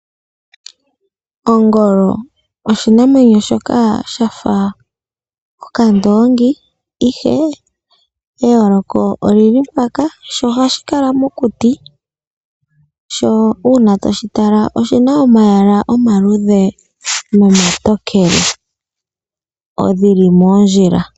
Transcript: Ongolo oshinamwenyo shoka shafa okandoongi, ihe eyooloko olili mpaka, sho ohashi kala mokuti, sho uuna toshi tala oshina omayala omaluudhe nomatokele geli moondjila.